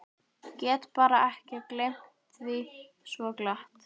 Get bara ekki gleymt því svo glatt.